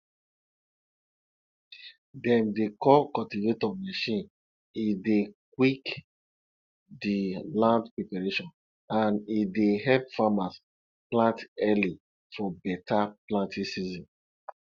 dem dey call cultivator machine e dey quick di land preparation and e dey help farmers plant early for better planting season